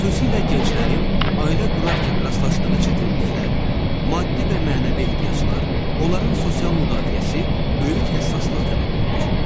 Xüsusilə gənclərin ailə qurarkən rastlaşdığı çətinliklər, maddi və mənəvi ehtiyaclar, onların sosial müdaxiləsi böyük həssaslıq tələb edir.